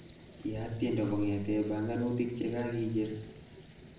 Yaat tiendo kongetee banganutik chekakijer